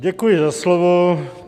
Děkuji za slovo.